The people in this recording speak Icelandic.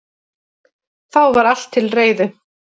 Þá var allt til reiðu